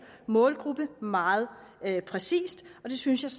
målgruppe meget præcist og det synes jeg